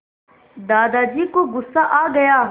दादाजी को गुस्सा आ गया